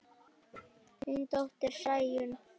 Þín dóttir, Sæunn.